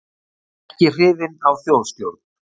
Ekki hrifin af þjóðstjórn